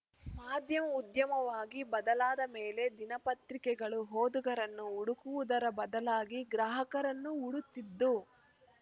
ಮಾಧ್ಯಮ ಉದ್ಯಮವಾಗಿ ಬದಲಾದ ಮೇಲೆ ದಿನಪತ್ರಿಕೆಗಳು ಓದುಗರನ್ನು ಹುಡುಕುವುದರ ಬದಲಾಗಿ ಗ್ರಾಹಕರನ್ನು ಹುಡುತ್ತಿದ್ದು